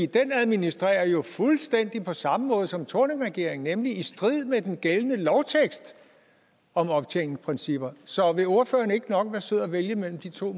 den administrerer jo fuldstændig på samme måde som thorningregeringen nemlig i strid med den gældende lovtekst om optjeningsprincipper så vil ordføreren ikke nok være sød at vælge mellem de to